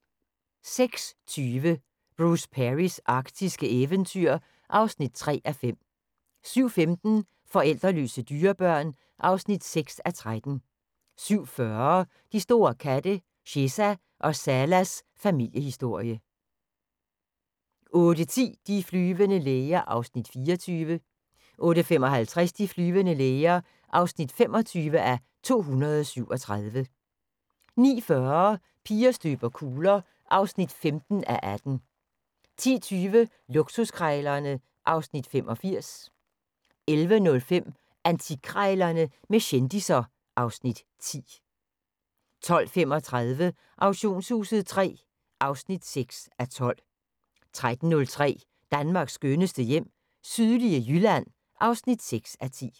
06:20: Bruce Perrys arktiske eventyr (3:5) 07:15: Forældreløse dyrebørn (6:13) 07:40: De store katte – Cheza og Salas familiehistorie 08:10: De flyvende læger (24:237) 08:55: De flyvende læger (25:237) 09:40: Piger støber kugler (15:18) 10:20: Luksuskrejlerne (Afs. 85) 11:05: Antikkrejlerne med kendisser (Afs. 10) 12:35: Auktionshuset III (6:12) 13:05: Danmarks skønneste hjem - sydlige Jylland (6:10)